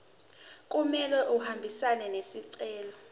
kumele ahambisane nesicelo